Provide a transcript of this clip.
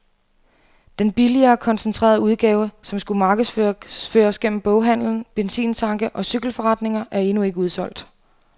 Den billigere, koncentrerede udgave, som skulle markedsføres gennem boghandelen, benzintanke og cykelforretninger, er endnu ikke udsolgt.